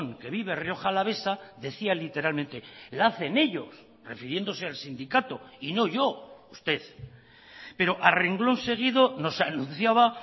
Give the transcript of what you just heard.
que vive rioja alavesa decía literalmente la hacen ellos refiriéndose al sindicato y no yo usted pero a renglón seguido nos anunciaba